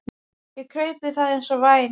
Ég kraup við það eins og væm